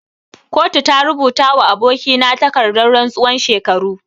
Kotu ta rubuta wa aboki na takardan rantsuwan shekaru.